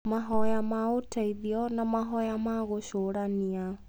mahoya ma ũteithio, na mahoya ma gũcũrania.